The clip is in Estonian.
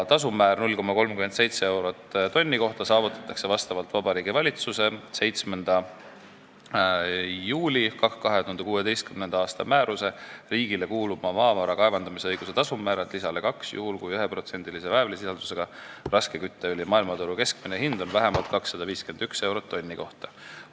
Tasumäär 0,37 eurot tonni kohta saavutatakse vastavalt Vabariigi Valitsuse 7. juuli 2016. aasta määruse "Riigile kuuluva maavara kaevandamisõiguse tasumäärad" lisale 2 juhul, kui 1%-lise väävlisisaldusega raske kütteõli maailmaturu keskmine hind on vähemalt 251 eurot tonni kohta.